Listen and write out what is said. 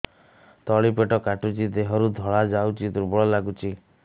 ତଳି ପେଟ କାଟୁଚି ଦେହରୁ ଧଳା ଯାଉଛି ଦୁର୍ବଳ ଲାଗୁଛି